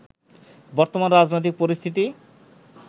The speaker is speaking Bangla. বর্তমান রাজনৈতিক পরিস্থিতি